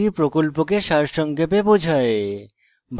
এটি প্রকল্পকে সারসংক্ষেপে বোঝায়